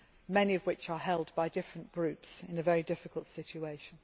many of which are held by different groups in a very difficult situation.